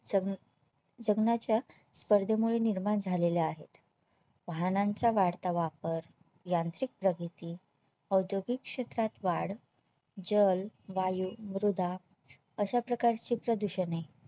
जगण्याच्या स्पर्धेमुळे निर्माण झालेले आहेत वाहनांचा वाढता वापर यांत्रिक प्रगती, औद्योगिक क्षेत्रात वाढ, जल, वायु, मृदा अशा प्रकारची प्रदूषणे